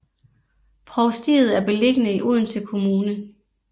Provstiet er beliggende i Odense Kommune